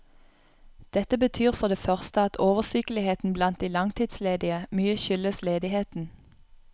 Dette betyr for det første at oversykeligheten blant de langtidsledige mye skyldes ledigheten.